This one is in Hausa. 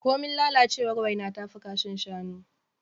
Komin lalacewar waina tafi kashin shanu.